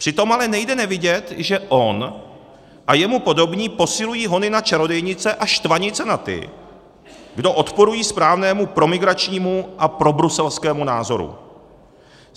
Přitom ale nejde nevidět, že on a jemu podobní posilují hony na čarodějnice a štvanice na ty, kdo odporují správnému proimigračnímu a probruselskému názoru.